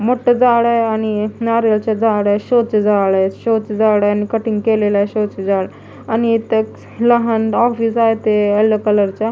मोठं झाड आहे आणि नारळाचं झाड आहे शो चं झाड आहे शो चं झाड आहे आणि कटिंग केलेल आहे शो चं झाड आणि इथं एक लहान ऑफिस आहे ते येलो कलर चं --